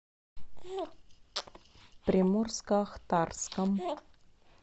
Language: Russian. приморско ахтарском